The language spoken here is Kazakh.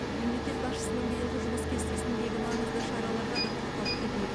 мемлекет басшысының биылғы жұмыс кестесіндегі маңызды шараларға да тоқталып кетейік